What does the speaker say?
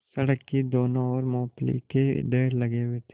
सड़क की दोनों ओर मूँगफली के ढेर लगे हुए थे